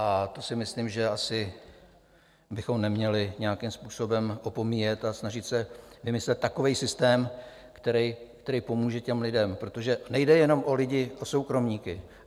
A to si myslím, že asi bychom neměli nějakým způsobem opomíjet, a snažit se vymyslet takový systém, který pomůže těm lidem, protože nejde jenom o lidi, o soukromníky.